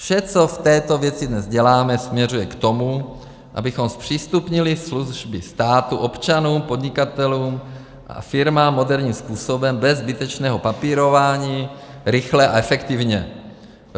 Vše, co v této věci dnes děláme, směřuje k tomu, abychom zpřístupnili služby státu občanům, podnikatelům a firmám moderním způsobem, bez zbytečného papírování, rychle a efektivně.